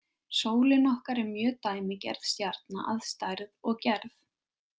Sólin okkar er mjög dæmigerð stjarna að stærð og gerð.